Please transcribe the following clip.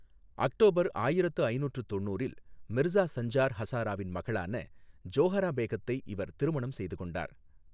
October ஆயிரத்து ஐநூற்று தொண்ணுற்றில் மிர்சா சஞ்சார் ஹசாராவின் மகளான ஜோஹரா பேகத்தை இவர் திருமணம் செய்து கொண்டார்.